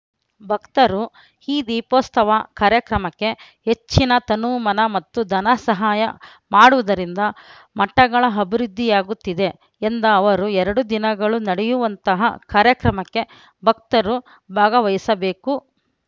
ಭಕ್ತರು ಈ ದೀಪೋತ್ಸವ ಕಾರ್ಯಕ್ರಮಕ್ಕೆ ಹೆಚ್ಚಿನ ತನುಮನ ಮತ್ತು ಧನ ಸಹಾಯ ಮಾಡುವುದರಿಂದ ಮಠಗಳ ಅಭಿವೃದ್ಧಿಯಾಗುತ್ತದೆ ಎಂದ ಅವರು ಎರಡು ದಿನಗಳು ನಡೆಯುವಂತಹ ಕಾರ್ಯಕ್ರಮಕ್ಕೆ ಭಕ್ತರು ಭಾಗವಹಿಸಬೇಕು